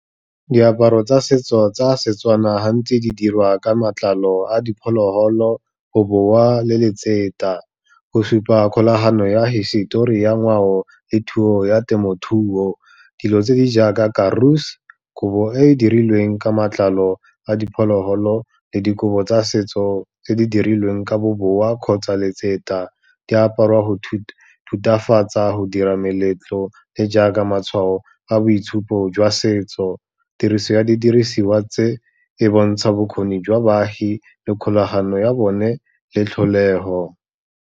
Diaparo tsa setso tsa seTswana gantsi di dirwa ka matlalo a diphologolo, bobowa le . Go supa kgolagano ya hisetori ya ngwao le thuo ya temothuo, dilo tse di jaaka Karoos, kobo e e dirilweng ka matlalo a diphologolo le dikobo tsa setso tse di dirilweng ka bobowa kgotsa di aparwa go thutafatsa, go dira meletlo le jaaka matshwao a boitshupo jwa setso. Tiriso ya didirisiwa tse, e bontsha bokgoni jwa baagi le kgolagano ya bone, le tlholego.